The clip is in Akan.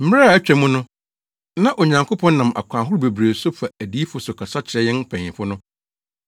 Mmere a atwa mu no, na Onyankopɔn nam akwan ahorow bebree so fa adiyifo so kasa kyerɛ yɛn mpanyimfo no.